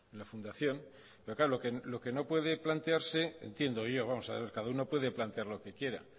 la fundación pero claro lo que no puede plantearse entiendo yo vamos a ver cada uno puede plantear lo que quiera